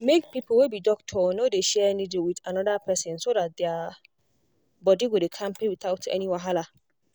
make people wey be doctor no dey share needle with another person so that their body go dey kampe without without any wahala.